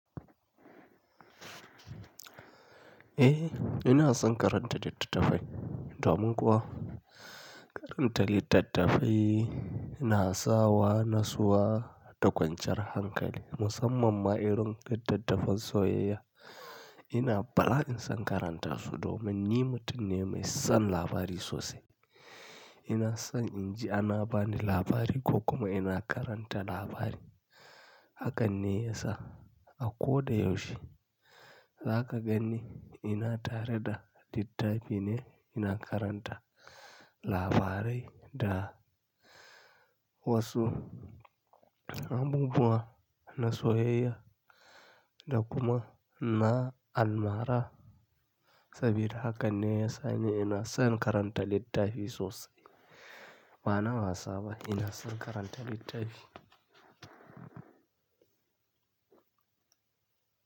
Eh, ina son karanta littattafai domin kuwa karanta littattafai na sa wa nutsuwa da kwanciyar hankali musamman ma irin littattafan soyayya. Ina bala in son karanta su domin ni mutum ne mai son labari sosai. Ina son inji ana bani labari ko kuma ina karanta labari. Hakan ne ya sa a ko da yaushe, zaka ganni ina tare da littafi ne ina karanta labarai da wasu abubuwa na soyayya da kuma na almara. Saboda haka ne ya sa ni ina son karanta littafi sosai. Ba na wasa ba, ina son karanta littafi.